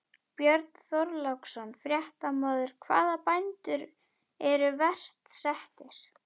Björn Þorláksson, fréttamaður: Hvaða bændur eru verst settir?